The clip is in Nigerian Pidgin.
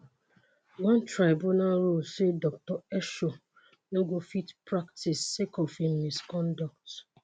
one tribunal rule say dr esho no go fit practice sake of im misconduct.